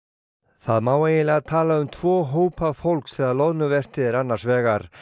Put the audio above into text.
það má eiginlega tala um tvo hópa fólks þegar loðnuvertíð er annars vegar